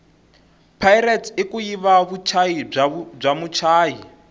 pirate ikuyiva vutshayi bwamutshayi